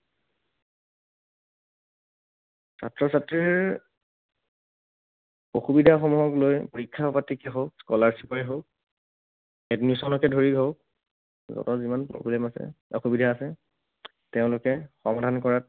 ছাত্ৰ ছাত্ৰীৰ অসুবিধাসমূহক লৈ, পৰীক্ষা পাতিকে হওঁক, scholarship এ হওঁক, admission কে ধৰি হওঁক, তেনেকুৱা যিমান problem আছে, অসুবিধা আছে, তেওঁলোকে সমাধান কৰাত